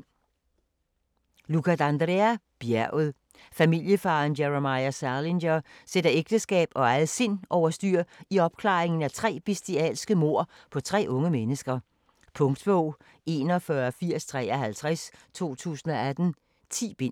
D'Andrea, Luca: Bjerget Familiefaderen Jeremiah Salinger sætter ægteskab og eget sind over styr, i opklaringen af tre bestialske mord på tre unge mennesker. Punktbog 418053 2018. 10 bind.